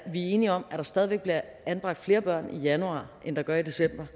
enige om at der stadig væk bliver anbragt flere børn i januar end der gør i december